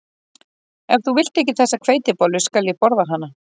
Ef þú vilt ekki þessa hveitibollu skal ég borða hana